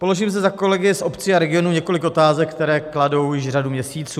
Položím zde za kolegy z obcí a regionů několik otázek, které kladou již řadu měsíců.